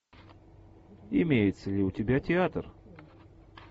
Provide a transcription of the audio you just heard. имеется ли у тебя театр